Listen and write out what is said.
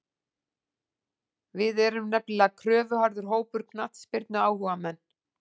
Við erum nefnilega kröfuharður hópur, knattspyrnuáhugamenn.